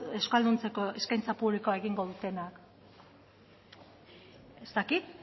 euskalduntzeko eskaintza publikoa egingo dutenak ez dakit